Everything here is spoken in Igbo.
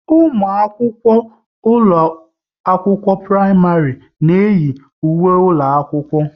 Ụmụ akwụkwọ ụlọ akwụkwọ praịmarị na iyi ùwé ụlọ akwụkwọ